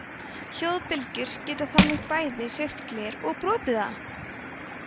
hljóðbylgjur geta þannig bæði hreyft gler og brotið það!